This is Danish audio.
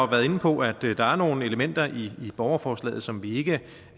været inde på at der er nogle elementer i borgerforslaget som vi ikke